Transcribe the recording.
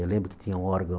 Eu lembro que tinha um órgão